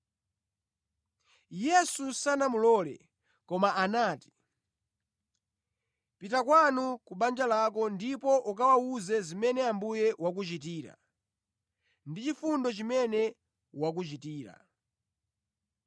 Yesu sanamulole, koma anati, “Pita kwanu ku banja lako ndipo ukawawuze zimene Ambuye wakuchitira, ndi chifundo chimene wakuchitira.”